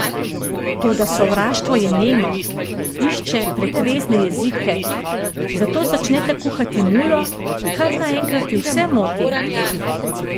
Toda sovraštvo je nemo, išče pretvezne jezike, zato začneta kuhati mulo, kar naenkrat ju vse moti!